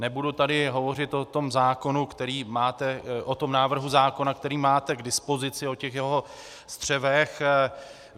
Nebudu tady hovořit o tom návrhu zákona, který máte k dispozici, o těch jeho střevech.